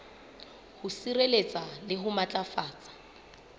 ho sireletsa le ho matlafatsa